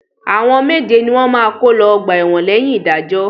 Àwọn méje ni wọ́n máa kó lọ ọgbà ẹ̀wọ̀n lẹ́yìn ìdájọ́.